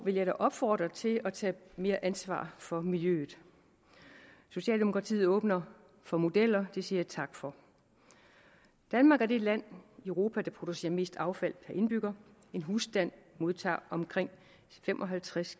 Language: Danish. vil jeg da opfordre til at tage mere ansvar for miljøet socialdemokratiet åbner for modeller det siger jeg tak for danmark er det land i europa der producerer mest affald per indbygger en husstand modtager omkring fem og halvtreds